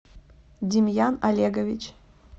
демьян олегович